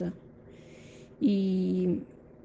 и